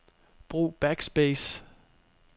Brug backspace.